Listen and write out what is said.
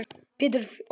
Pétur og félagar mæta.